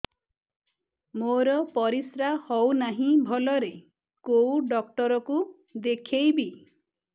ମୋର ପରିଶ୍ରା ହଉନାହିଁ ଭଲରେ କୋଉ ଡକ୍ଟର କୁ ଦେଖେଇବି